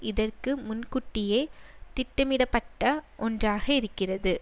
இதற்கு முன்கூட்டியே திட்டமிடப்பட்ட ஒன்றாக இருக்கிறது